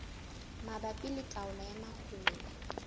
mabapi le taolo ya mahola